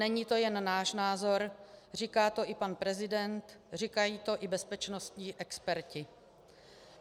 Není to jen náš názor, říká to i pan prezident, říkají to i bezpečnostní experti.